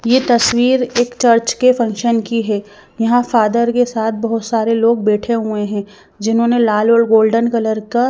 यह तस्वीर एक चर्च के फंक्शन की है यहां फादर के साथ बहुत सारे लोग बैठे हुए हैं जिन्होंने लाल और गोल्डन कलर का--